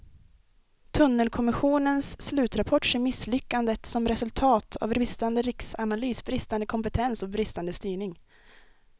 Tunnelkommissionens slutrapport ser misslyckandet som resultat av bristande riskanalys, bristande kompetens och bristande styrning.